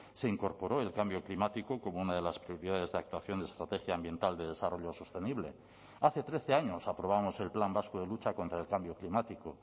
se incorporó el cambio climático como una de las prioridades de actuación de estrategia ambiental de desarrollo sostenible hace trece años aprobamos el plan vasco de lucha contra el cambio climático